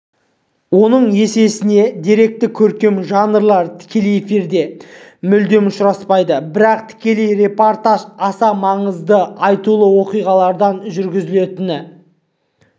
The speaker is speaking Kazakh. оның есесіне деректі-көркем жанрлар тікелей эфирде мүлдем ұшыраспайды бірақ тікелей репортаж аса маңызды айтулы оқиғалардан жүргізілетіні